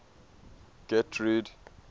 getrude